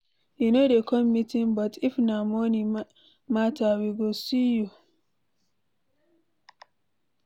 You no dey come meeting but if na money matter we go see you.